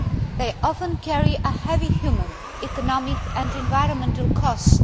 They often carry a heavy human, economic and environmental cost.